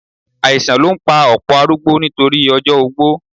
Àìsàn ló ń pa ọ̀pọ̀ arúgbó nítorí ọjọ́ ogbó